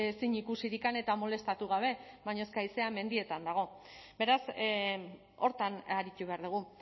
zein ikusirik eta molestatu gabe baina eske haizea mendietan dago beraz horretan aritu behar dugu